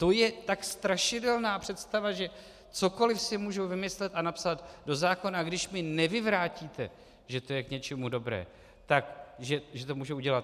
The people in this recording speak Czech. To je tak strašidelná představa, že cokoliv si můžu vymyslet a napsat do zákona, když mi nevyvrátíte, že to je k něčemu dobré, tak že to může udělat.